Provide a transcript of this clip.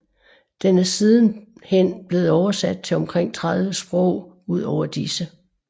Den er siden hen blevet oversat til omkring 30 sprog udover disse